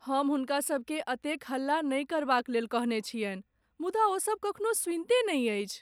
हम हुनका सभकेँ एतेक हल्ला नहि करबाक लेल कहने छियनि , मुदा ओसभ कखनो सुनिते नहि अछि।